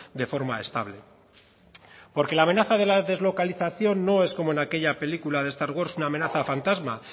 de forma estable porque la amenaza de la deslocalización no es como en aquella película de star wars una amenaza fantasma